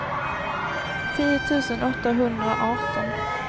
tio tusen åttahundraarton